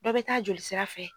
Dɔ bɛ taa jolisira fɛ.